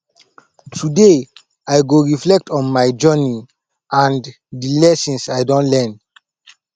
today i go reflect on my journey and di lessons i don learn